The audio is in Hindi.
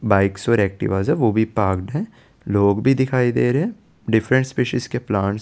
बाइक्स और एक्टिवास है वो भी पार्क्ड हैं लोग भी दिखाई दे रहे हैं डिफरेंट स्पीशीज के प्लांट्स --